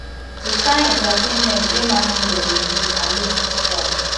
di kain entertainment wey mass media dey give i no fit shout